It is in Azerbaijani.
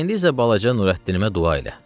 İndi isə balaca Nurəddinimə dua elə.